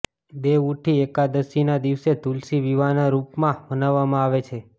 દેવઉઠી એકાદશીના દિવસને તુલસી વિવાહના રૂપમાં મનાવવામાં આવે છે